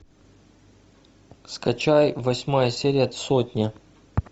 скачай восьмая серия сотня